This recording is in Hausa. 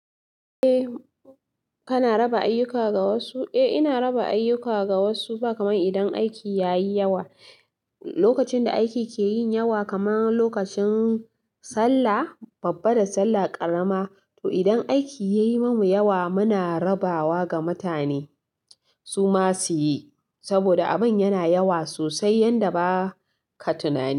Eh kana raba ayyuka ga wasu? Eh ina raba ayyuka ga wasu ba kamar idan aiki yayi yawa. Lokacin da aiki ke yin yawa kamar lokacin sallah, babba da sallah ƙarama. To idan aiki ya yi mamu yawa muna rabawa ga mutane, su ma su yi. Saboda abin yana yawa sosai yanda ba ka tunani.